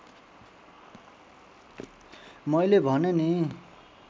मैले भने नि